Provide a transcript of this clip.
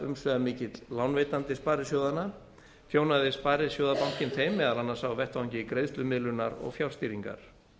umsvifamikill lánveitandi sparisjóðanna þjónaði sparisjóðabankinn þeim meðal annars á vettvangi greiðslumiðlunar og fjárstýringar